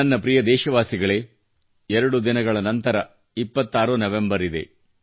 ನನ್ನ ಪ್ರಿಯ ದೇಶವಾಸಿಗಳೇ 2 ದಿನಗಳ ನಂತರ 26 ನವೆಂಬರ್ ಇದೆ